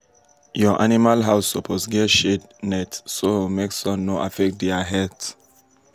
your animal house suppose get shade net so make sun no affect dia health.